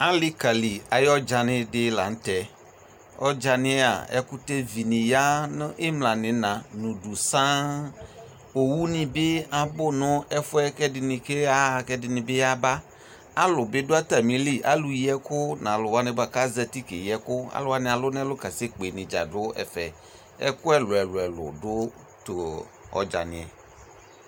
Alekali àye ɔdzani de lantɛ Ɔdzaia ɛkutɛvi ne ya no imla no ina no udu saan Owu ne be abu no ko ɛdene keya kɛ ɛdene yaba Alu be do atame li, alu yi ɛku no alu ko azati kɛyi ɛku, alu wane alu no ɛlu kasɛ kpe ne dza do ɛvɛ Ɛku ɛluɛlu do to ɔdzaniɛ